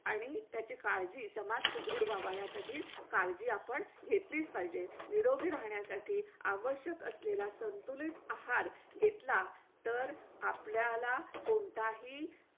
आणि त्याची काळजी समाज सुदृढ व्हावा यासाठी काळजी आपण घेतली पाहिजे. निरोगी राहण्यासाठी आवश्यक असलेला संतुलित आहार घेतला तर आपल्याला कोणताही